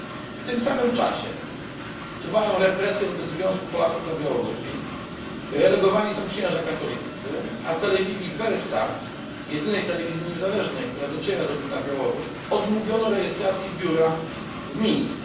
W tym samym czasie trwają represje wobec Związku Polaków na Białorusi, relegowani są księża katoliccy, a telewizji Belsat jedynej telewizji niezależnej, która dociera na Białoruś odmówiono rejestracji biura w Mińsku.